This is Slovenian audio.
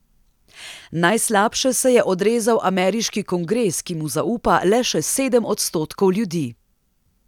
Najslabše se je odrezal ameriški kongres, ki mu zaupa le še sedem odstotkov ljudi.